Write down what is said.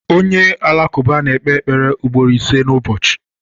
Onye Alakụba na-ekpe ekpere ugboro ise n’ụbọchị.